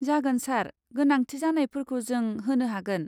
जागोन सार, गोनांथि जानायफोरखौ जों होनो हागोन।